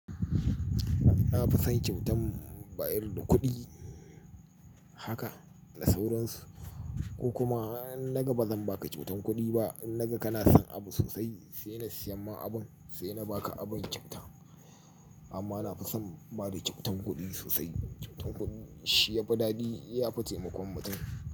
A'a, ba san kyautar bayar da kuɗi haka da sauransu ko kuma naga ba zan baka kyautar kuɗi ba, naga kana son abu sosai, sai na siya ma abun, sai na baka abun kyauta. Amma na fi son bada kyautar kuɗi sosai. Kyautar kuɗi shi ya fi daɗi, ya fi taimakon mutum.